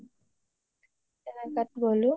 তেনেকুৱাত গ’লো